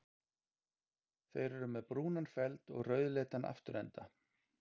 Þeir eru með brúnan feld og rauðleitan afturenda.